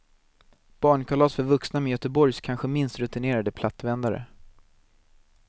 Barnkalas för vuxna med göteborgs kanske minst rutinerade plattvändare.